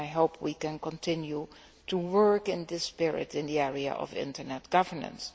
I hope we can continue to work in this spirit in the area of internet governance.